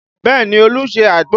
Bẹẹ ni, Olu ṣe àgbo